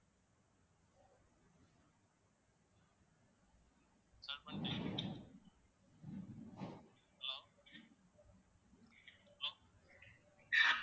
hello hello